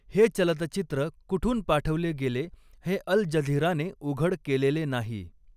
हे चलतचित्र कुठून पाठवले गेले हे अल जझिराने उघड केलेले नाही.